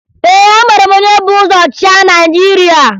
Ee, amara m onye bu ụzọ chịa Naịjirịa